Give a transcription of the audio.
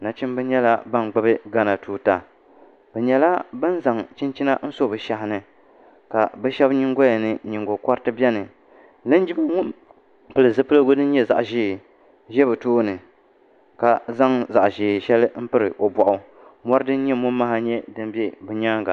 nachimba nyɛla ban gbubi ghana tuuta bɛ nyɛla ban zaŋ chinchina n-so bɛ shɛhi ni ka bɛ shɛba nyingoya ni nyingokoriti beni linjima ŋun pili zipiligu din nyɛ zaɣ' ʒee za bɛ tooni ka zaŋ zaɣ' shɛli m-piri o bɔɣu mɔri din nyɛ mɔmaha nyɛ din be o nyaaŋa